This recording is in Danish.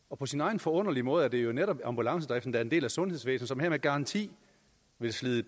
og på sin egen forunderlige måde er det jo netop ambulancedriften der er en del af sundhedsvæsenet og med garanti vil slide